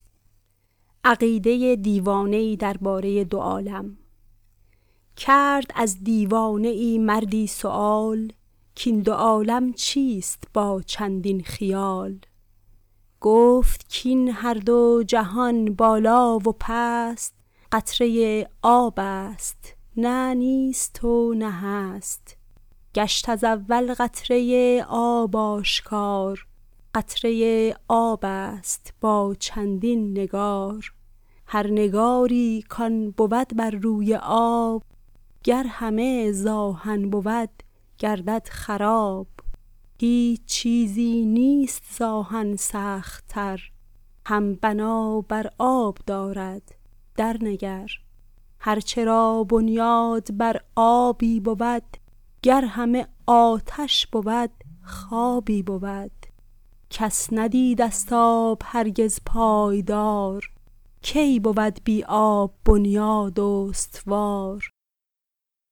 کرد از دیوانه ای مردی سؤال کاین دو عالم چیست با چندین خیال گفت کاین هر دو جهان بالا و پست قطره آب است نه نیست و نه هست گشت ز اول قطره آب آشکار قطره آب است با چندین نگار هر نگاری کآن بود بر روی آب گر همه زآهن بود گردد خراب هیچ چیزی نیست زآهن سخت تر هم بنا بر آب دارد در نگر هرچ را بنیاد بر آبی بود گر همه آتش بود خوابی بود کس ندیده ست آب هرگز پایدار کی بود بر آب بنیاد استوار